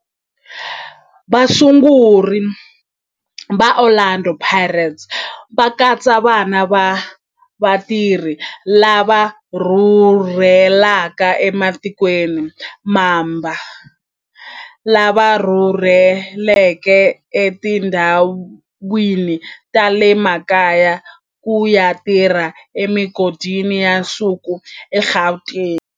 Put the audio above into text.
Vasunguri va Orlando Pirates va katsa vana va vatirhi lava rhurhelaka ematikweni mambe lava rhurheleke etindhawini ta le makaya ku ya tirha emigodini ya nsuku eGauteng.